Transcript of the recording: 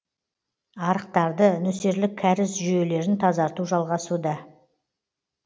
арықтарды нөсерлік кәріз жүйелерін тазарту жалғасуда